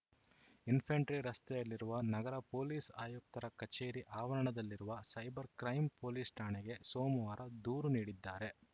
infantry ರಸ್ತೆಯಲ್ಲಿರುವ ನಗರ police ಆಯುಕ್ತರ ಕಚೇರಿ ಆವರಣದಲ್ಲಿರುವ ಸೈಬರ್‌ ಕ್ರೈಂ ಪೊಲೀಸ್‌ ಠಾಣೆಗೆ ಸೋಮವಾರ ದೂರು ನೀಡಿದ್ದಾರೆ